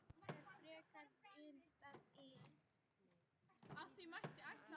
Oft er frekar vitnað til tíðninnar.